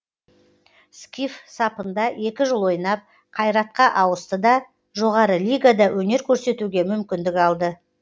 скиф сапында екі жыл ойнап қайратқа ауысты да жоғары лигада өнер көрсетуге мүмкіндік алды